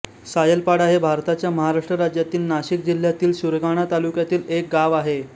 सायलपाडा हे भारताच्या महाराष्ट्र राज्यातील नाशिक जिल्ह्यातील सुरगाणा तालुक्यातील एक गाव आहे